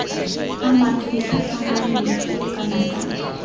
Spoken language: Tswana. amang ditlhatlhamano dikgolo kana tsa